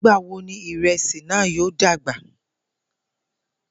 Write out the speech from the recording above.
Nigbawo ni iresi naa yoo dagba?